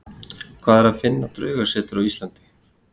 Hvar er að finna draugasetur á Íslandi?